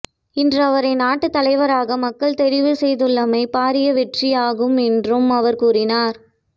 இன்று அவரை நாட்டு தலைவராக மக்கள் தெரிவு செய்துள்ளமை பாரிய வெற்றியாகும் என்றும் அவர் கூறினார்